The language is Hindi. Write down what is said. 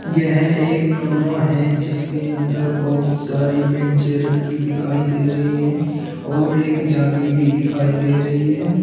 यह एक कमरा है जिसके अंदर बहुत सारी बेंचे रखी दिखाई दे रही हैं और एक जाली भी दिखाई दे रही है।